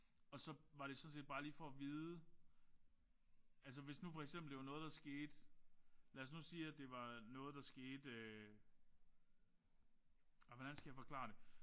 Og så var det sådan set bare lige for at vide altså hvis nu for eksempel det var noget der skete lad os nu sige at det var noget der skete ej hvordan skal jeg forklare det